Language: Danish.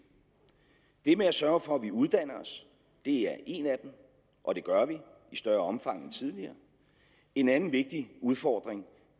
det med at sørge for at vi uddanner os er en af dem og det gør vi i større omfang end tidligere en anden vigtig udfordring